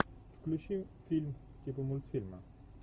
включи фильм типа мультфильма